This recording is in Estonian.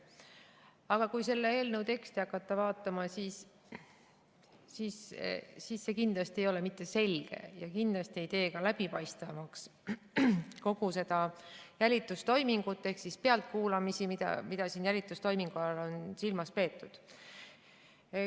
Aga kui selle eelnõu teksti hakata vaatama, siis see kindlasti ei ole mitte selge ja kindlasti ei tee ka läbipaistvamaks kogu seda jälitustoimingut ehk pealtkuulamisi, mida siin jälitustoimingu all on silmas peetud.